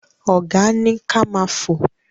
Ọ̀gá ni ka ma fò.